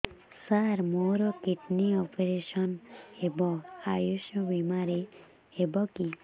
ସାର ମୋର kidney operation ହେବ ଆୟୁଷ ବିମାରେ ହେବ କି